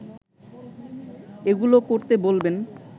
এগুলো করতে বলবেন